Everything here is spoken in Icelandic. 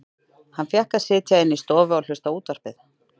Hann fékk að sitja inni í stofu og hlusta á útvarpið.